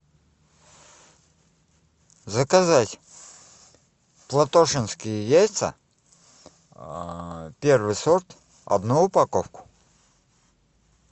заказать платошенские яйца первый сорт одну упаковку